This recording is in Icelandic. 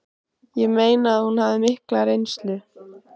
Ég meina að hún hafði mikla reynslu